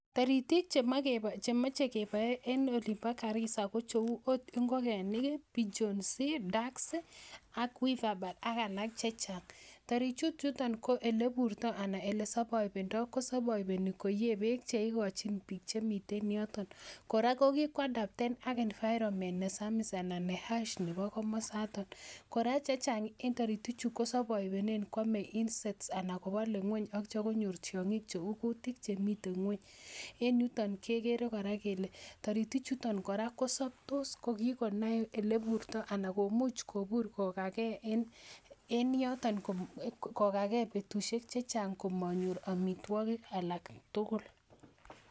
Taritik chemoe chemoche keboe en olin bo Garissa ko cheu ot ngokenik ih pigeons, ducks ak weaver birds ak alak chechang taritik chuton ko eleburtoo anan elesovoivendoo ko kosovoiveni keyee beek kokochin biik chemiten yoton kora ko kikoadapten ak environment nesamis ana ne harsh nebo komosaton kora chechang en taritik chu kosovoivenen koame insects anan kobole ng'weny ak itya konyor tiong'ik cheu kutik chemiten ng'weny en yuton kekere kora kele toritik chuton kora kosoptos kokikonai eleburtoo ana komuch kobur kokagee en yoton kokagee betusiek chechang kogagee komonyor amitwogik alak tugul